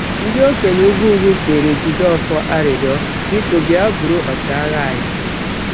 Ndị okenye ugwu ugwu kpeere Jideofor arịrịọ: Biko, bịa bụrụ ọchịagha anyị.